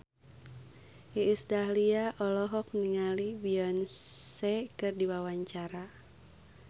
Iis Dahlia olohok ningali Beyonce keur diwawancara